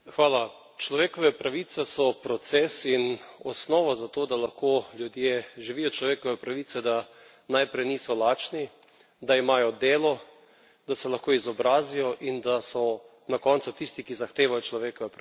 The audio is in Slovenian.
Človekove pravice so proces in osnova za to, da lahko ljudje živijo človekove pravice, da najprej niso lačni, da imajo delo, da se lahko izobrazijo in da so na koncu tisti, ki zahtevajo človekove pravice.